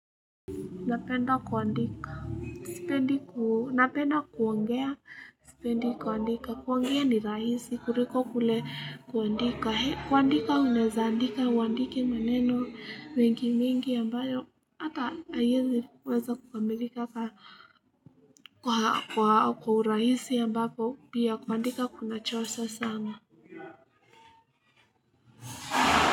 Napenda kuandika napenda kuongea sipendi kuandika kuongea ni rahisi kuliko kule kuandika. Kuandika unaweza andika uandike maneno mengi mengi ambayo hata haiwezi weza kukamilika kwa urahisi ambapo pia kuandika kunachosha sana.